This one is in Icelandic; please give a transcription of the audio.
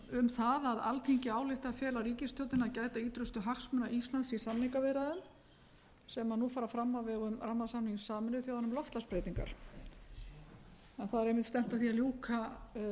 um það að alþingi ályktar að fela ríkistjórninni að gæta ýtrustu hagsmuna íslands í samningaviðræðum sem nú fara fram á vegum rammasamnings sameinuðu þjóðanna um loftslagsbreytingar en það er einmitt stefnt að því að ljúka